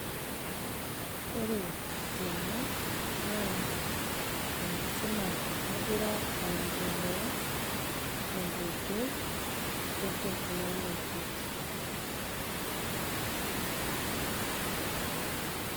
Ore tene, naa enkisuma nagira aiendelea, tenkoitoi e technology.